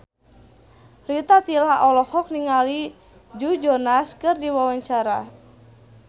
Rita Tila olohok ningali Joe Jonas keur diwawancara